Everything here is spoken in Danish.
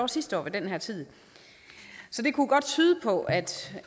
sidste år ved den her tid så det kunne godt tyde på at